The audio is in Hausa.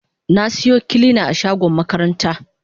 Na siyo kilina a shagon makaranta.